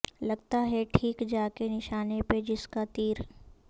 لگتا ہے ٹھیک جا کے نشانے پہ جس کا تیر